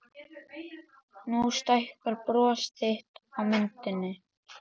Nú stækkar bros þitt á myndinni.